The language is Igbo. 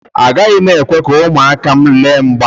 Agaghị m ekwe ka ụmụaka m lee mgba.